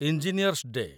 engineers day